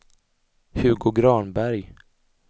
Hugo Granberg